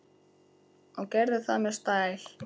Og gerði það með stæl.